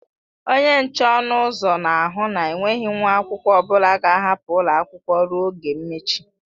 Onye nche ọnụ ụzọ na ahụ na enweghị nwa akwụkwọ ọbụla ga-ahapụ ụlọ akwụkwọ ruo oge mmechi.